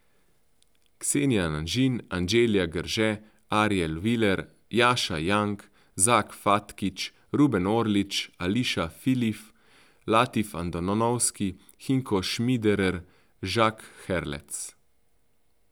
Xenia Anžin, Anđelija Grže, Ariel Willer, Jaša Young, Zak Fatkić, Ruben Orlič, Alisha Pilih, Latif Andonovski, Hinko Šmiderer, Jacques Herlec.